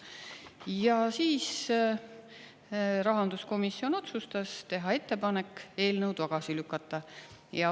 Ja siis rahanduskomisjon otsustas teha ettepaneku eelnõu tagasi lükata.